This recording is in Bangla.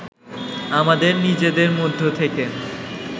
আমাদের নিজেদের মধ্য থেকে